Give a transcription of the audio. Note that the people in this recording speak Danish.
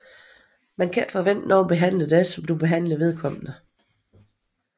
Man kan ikke forvente nogen behandler dig som du som behandler vedkommende